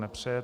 Nepřeje.